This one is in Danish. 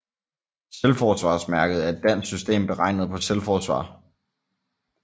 Selvforsvarsmærket er et dansk system beregnet på selvforsvar